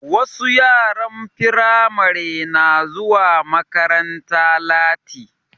Wasu yaran Firamare na zuwa makaranta lati